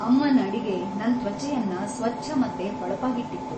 ಅಮ್ಮನ್ ಅಡಿಗೆ‌ ನನ್‌ ತ್ವಚೆಯನ್ನ ಸ್ವಚ್ಛ ಮತ್ತೆ ಹೊಳಪಾಗಿಟ್ಟಿತ್ತು.